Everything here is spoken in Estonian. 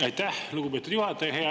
Aitäh, lugupeetud juhataja!